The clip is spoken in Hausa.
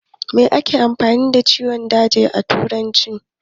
Me ake nufi da ciwon daji a turance?